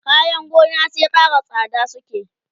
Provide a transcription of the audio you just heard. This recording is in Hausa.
kayan gona sai Ƙara tsada suke